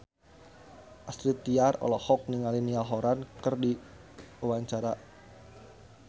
Astrid Tiar olohok ningali Niall Horran keur diwawancara